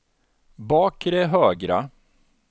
bakre högra